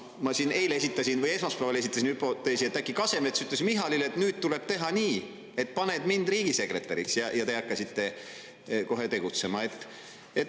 Ma siin esmaspäeval esitasin hüpoteesi, et äkki Kasemets ütles Michalile, et nüüd tuleb teha nii, et paned mind riigisekretäriks, ja te hakkasite kohe tegutsema.